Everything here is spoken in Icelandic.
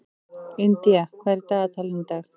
Indía, hvað er í dagatalinu í dag?